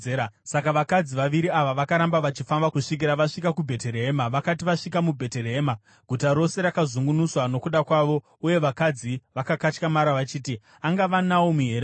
Saka vakadzi vaviri ava vakaramba vachifamba kusvikira vasvika kuBheterehema. Vakati vasvika muBheterehema, guta rose rakazungunuswa nokuda kwavo, uye vakadzi vakakatyamara vachiti, “Angava Naomi here uyu?”